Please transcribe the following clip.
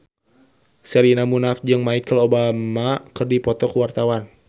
Sherina Munaf jeung Michelle Obama keur dipoto ku wartawan